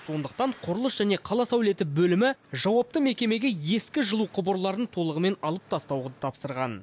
сондықтан құрылыс және қала сәулеті бөлімі жауапты мекемеге ескі жылу құбырларын толығымен алып тастауды тапсырған